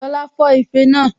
Lọla fọ́ ife náà